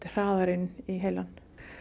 hraðar inn í heilann